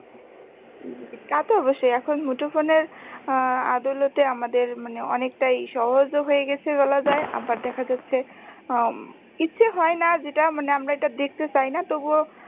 তা তো অবশ্যই এখন মুঠোফোনের আহ দৌলতে আমাদের মানে অনেকটাই সহজও হয়ে গেছে বলা যায় আবার দেখা যাচ্ছে উম ইচ্ছে হয়না যেটা মানে আমরা দেখতে চাইনা তবুও